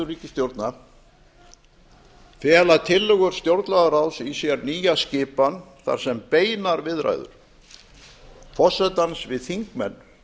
ríkisstjórna fela tillögur stjórnlagaráðs í sér nýja skipan þar sem beinar viðræður forsetans við þingmenn